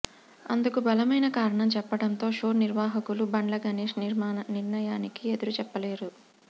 అందుకు బలమైన కారణం చెప్పడంతో షో నిర్వాహకులు బండ్ల గణేష్ నిర్ణయానికి ఎదురుచెప్పలేదు